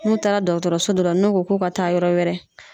N'u taara dɔgɔtɔrɔso dɔ la , n'u ko k'o ka taa yɔrɔ wɛrɛ